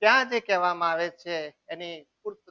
ધ્યાને કહેવામાં આવે છે. એની પૂરતા